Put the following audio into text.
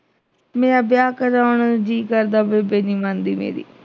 ਮੇਰਾ ਵਿਆਹ ਕਰਾਉਣ ਨੂੰ ਜੀਅ ਕਰਦਾ ਬੇਬੇ ਨੀਂ ਮੰਨਦੀ ਮੇਰੀ